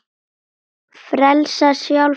Frelsa sjálfa sig.